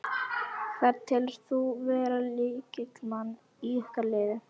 Hvern telur þú vera lykilmann í ykkar liði?